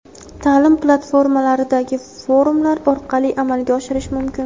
taʼlim platformalaridagi forumlar orqali amalga oshirish mumkin.